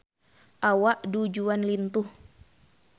Awak Du Juan lintuh